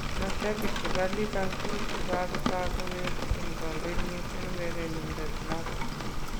Mashabik chebo Liverpool kokatok kowekyin kongoi missing urerenindet noto.